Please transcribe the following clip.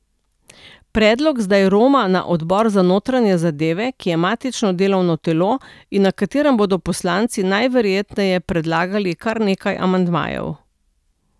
Predlog zdaj roma na odbor za notranje zadeve, ki je matično delovno telo in na katerem bodo poslanci najverjetneje predlagali kar nekaj amandmajev.